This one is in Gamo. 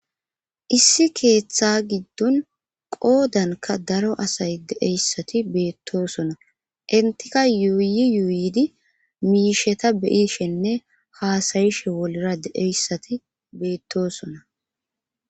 issi keeththa giddon qoodanka daro asay deeyssati beettosona intika yuuyi yuuyidi miisheta beyishenne haasayishe wolera deeyssati beettosona